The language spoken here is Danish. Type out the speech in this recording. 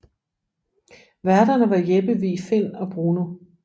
Værterne var Jeppe Vig Find og Bruno